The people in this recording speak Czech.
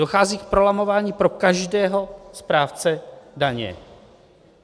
Dochází k prolamování pro každého správce daně.